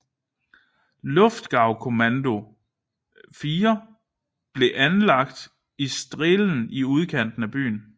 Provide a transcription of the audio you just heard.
Luftgaukommando IV blev anlagt i Strehlen i udkanten af byen